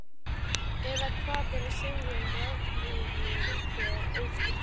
Eða hvað á að segja um rafurmagnið, þennan ósýnilega kraft?